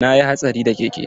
Na yi hatsari da keke.